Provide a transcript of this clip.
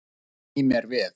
Sný mér við.